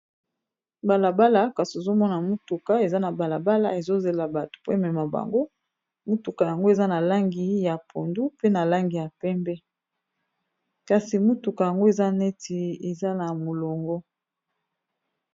Balabala kasi ozomona motuka eza na balabala ezozela bato po emema bango motuka yango eza na langi ya pondu pe na langi ya pembe kasi motuka yango eza neti eza na molongo.